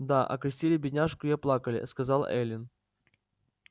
да окрестили бедняжку и оплакали сказала эллин